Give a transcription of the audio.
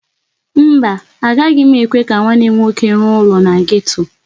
Mba, agaghị m ekwe ka nwanne m nwoke rụọ ụlọ na geto.